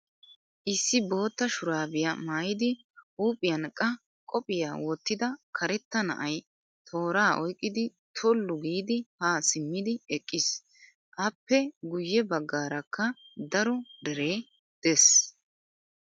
Issi bootta shuraabiyaa maayidi huuphiyan qa qophiyaa wottida karetta na'ayi tooraa oyiqqidi tollu giidi ha simmidi eqqis. Appe guyye baggaarakka daro deree des.